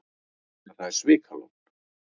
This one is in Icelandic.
En það er svikalogn.